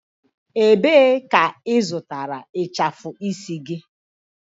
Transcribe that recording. Ebee ka ị zụtara ịchafụ isi gị?